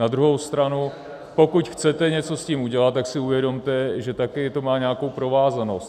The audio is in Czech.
Na druhou stranu pokud chcete něco s tím udělat, tak si uvědomte, že také to má nějakou provázanost.